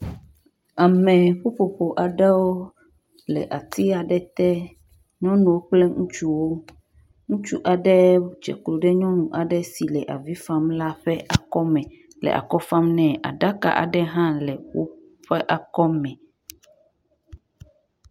Ame ƒoƒoƒo aɖewo le ati aɖe te, nyɔnu kple ŋutsuwo. ŋutsu aɖe dzeklo ɖe nyɔnu aɖe si le avi fam la ƒe akɔme le akɔ fam nɛ, aɖaka aɖe hã le woƒe akɔme